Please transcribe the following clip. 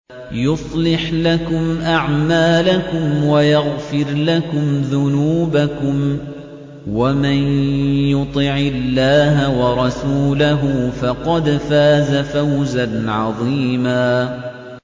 يُصْلِحْ لَكُمْ أَعْمَالَكُمْ وَيَغْفِرْ لَكُمْ ذُنُوبَكُمْ ۗ وَمَن يُطِعِ اللَّهَ وَرَسُولَهُ فَقَدْ فَازَ فَوْزًا عَظِيمًا